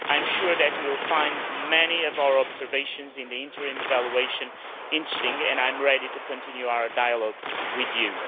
I am sure that you will find many of our observations in the interim evaluation interesting, and I am ready to continue our dialogue with you.